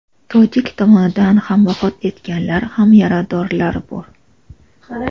tojik tomonidan ham vafot etganlar va yaradorlar bor.